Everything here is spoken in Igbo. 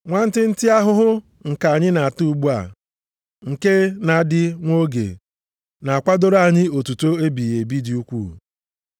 Nwantịntị ahụhụ nke anyị na-ata ugbu a, nke na-adị nwa oge, na-akwadoro anyị otuto ebighị ebi dị ukwuu.